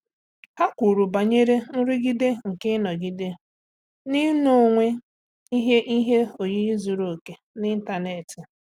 Há kwùrù banyere nrụgide nke ị́nọ́gídé n’ị́nọ́wé ihe ihe oyiyi zùrù òké n’ị́ntánétị̀.